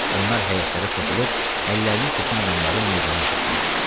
Onlar həyətlərə soxulub əllərinə keçən adamları meydana yığırdılar.